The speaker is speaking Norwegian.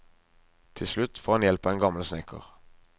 Til slutt får han hjelp av en gammel snekker.